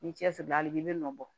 Ni cɛsiri hali bi i bi nɔ bɔ